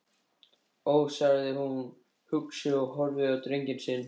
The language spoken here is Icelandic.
Ó, sagði hún hugsi og horfði á drenginn sinn.